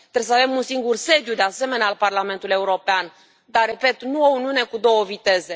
Trebuie să avem un singur sediu, de asemenea, al Parlamentului European, dar, repet, nu o uniune cu două viteze.